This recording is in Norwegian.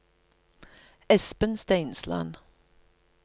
Espen Steinsland